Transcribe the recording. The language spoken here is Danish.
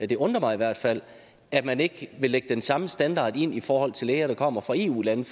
det undrer mig i hvert fald at man ikke vil lægge den samme standard ind i forhold til læger der kommer fra eu lande